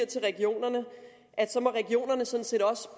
til regionerne så må regionerne sådan set også